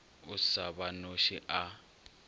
o sa ba noše a